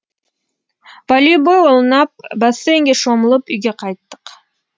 волейбол ойнап бассейнге шомылып үйге қайттық